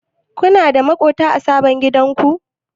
Kuna da maƙwabta a sabon gidanku?